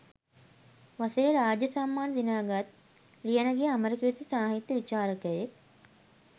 වසරේ රාජ්‍ය සම්මාන දිනාගත් ලියනගේ අමරකීර්ති සාහිත්‍ය විචාරකයෙක්